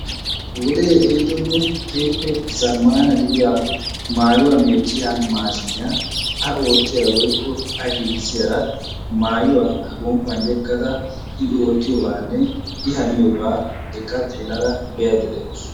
Wode ehidonne keehippe zammana gidiyaa maayuwaa meecciya maashshiniyaa a oottiyaara woykko a giiggissiyaara maayuwa A gomppan yeggaada I oottiyoobanne I haniyooba eqqa be'aydda de'awus.